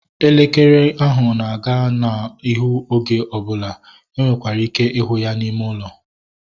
Elekere ahụ na-aga n'ihu oge ọbụla. E nwekwara ike ịhụ ya n'ime ụlọ